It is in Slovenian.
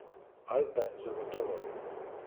Alpe zagotovo.